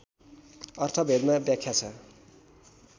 अर्थवेदमा व्याख्या छ